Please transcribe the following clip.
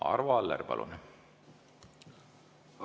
Arvo Aller, palun!